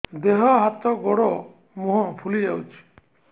ଦେହ ହାତ ଗୋଡୋ ମୁହଁ ଫୁଲି ଯାଉଛି